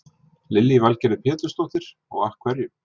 Lillý Valgerður Pétursdóttir: Og af hverju?